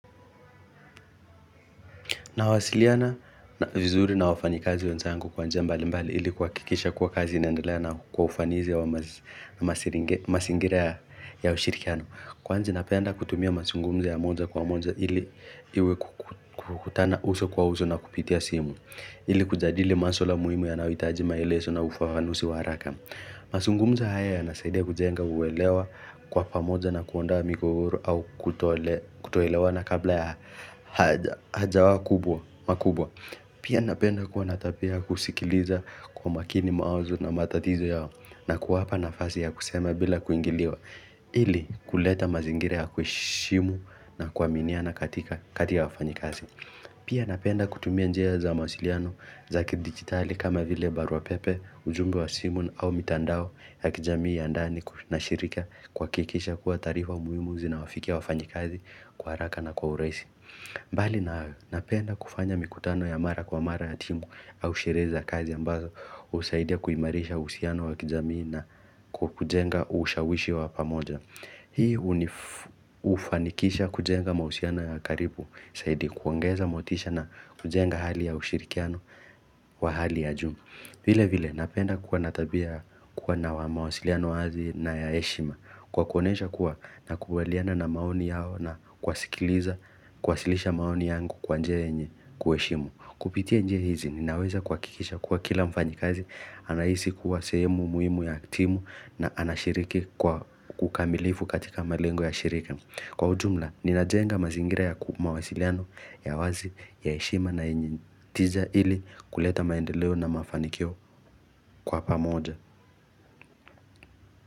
Nawasiliana vizuri na wafanyikazi wenzangu kwa njia mbalimbali ili kuhakikisha kuwa kazi inaendelea na kwa ufanisi wa mazingira ya ushirikiano. Kwani ninapenda kutumia mazungumzo ya moja kwa moja ili iwe kukutana uso kwa uso na kupitia simu. Ili kujadili maswala muhimu yanayohitaji maelezo na ufafanusi wa haraka. Mazungumzo haya yanasaidia kujenga uelewa kwa pamoja na kuonda migogoro au kutoelewana kabla ya haja kubwa Pia napenda kuwa na tabia ya kusikiliza kwa makini mawazo na matatizo yao na kuwapa nafasi ya kusema bila kuingiliwa ili kuleta mazingira ya kuheshimu na kuaminiana kati ya wafanyikazi Pia napenda kutumia njia za mawasiliano za kidijitali kama vile baruapepe, ujumbe wa simu au mitandao ya kijamii ya ndani na shirika kuhakikisha kuwa taarifa muhimu zinawafikia wafanyi kazi kwa haraka na kwa urahisi. Bali na hayo napenda kufanya mikutano ya mara kwa mara ya timu au sherehe za kazi ambazo husaidia kuimarisha uhusiano wa kijamii na kujenga ushawishi wa pamoja. Hii hufanikisha kujenga mahusiano ya karibu zaidi kuongeza motisha na kujenga hali ya ushirikiano wa hali ya juu vile vile napenda kuwa na tabia kuwa na mawasiliano wazi na ya heshima Kwa kuonyesha kuwa nakubaliana na maoni yao na kuwasikiliza kuwasilisha maoni yangu kwa njia yenye kuheshimu Kupitia njia hizi ninaweza kuhakikisha kuwa kila mfanyikazi anahisi kuwa sehemu muhimu ya timu na anashiriki kwa ukamilifu katika malengo ya shirika Kwa ujumla, ninajenga mazingira ya mawasiliano ya wazi ya heshima na yenye tija ili kuleta maendeleo na mafanikio kwa pamoja.